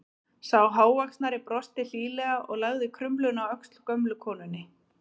Sá hávaxnari brosti hlýlega og lagði krumluna á öxl gömlu konunni.